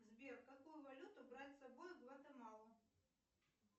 сбер какую валюту брать с собой в гватемалу